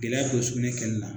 Gɛlɛya don sugunɛ kɛli la